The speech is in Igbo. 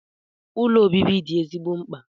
Ụlọ obibi dị ezigbo mkpa.